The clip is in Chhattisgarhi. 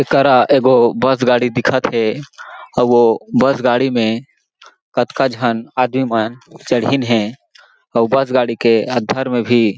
एकरा एगो बस गाड़ी दिखत हें आऊ वो बस गाड़ी मे कतका झन आदमी मन चढ़ींन हे अउ बस गाड़ी के अन्दर मे भी--